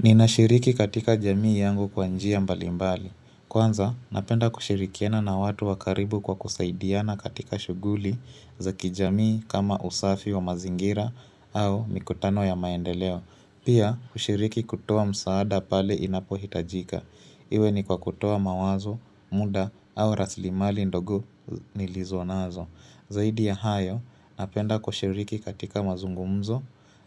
Ninashiriki katika jamii yangu kwa njia mbalimbali. Kwanza, napenda kushirikiana na watu wakaribu kwa kusaidiana katika shuguli za kijamii kama usafi wa mazingira au mikutano ya maendeleo. Pia kushiriki kutoa msaada pale inapo hitajika. Iwe ni kwa kutoa mawazo, muda au raslimali ndogo nilizonazo. Zaidi ya hayo, napenda kushiriki katika mazungumzo